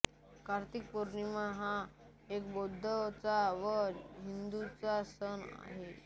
कार्तिक पौर्णिमा हा एक बौद्धांचा व हिंदूंचा सण आहे